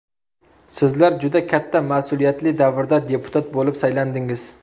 Sizlar juda katta mas’uliyatli davrda deputat bo‘lib saylandingiz.